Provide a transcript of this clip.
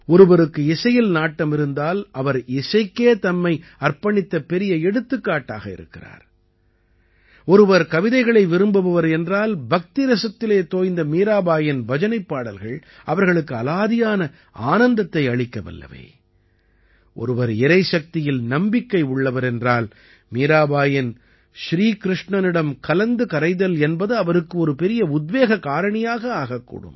ஒருவருக்கு இசையில் நாட்டம் இருந்தால் அவர் இசைக்கே தம்மை அர்ப்பணித்த பெரிய எடுத்துக்காட்டாக இருக்கிறார் ஒருவர் கவிதைகளை விரும்புபவர் என்றால் பக்திரசத்திலே தோய்ந்த மீராபாயின் பஜனைப் பாடல்கள் அவர்களுக்கு அலாதியான ஆனந்தத்தை அளிக்க வல்லவை ஒருவர் இறைசக்தியில் நம்பிக்கை உள்ளவர் என்றால் மீராபாயின் ஸ்ரீ கிருஷ்ணனிடம் கலந்து கரைதல் என்பது அவருக்கு ஒரு பெரிய உத்வேக காரணியாக ஆகக்கூடும்